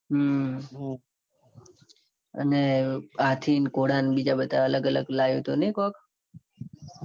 હમ અને હાથી ન ઘોડા ન બીજા બધા અલગ અલગ લાયુ હતું. ને કોક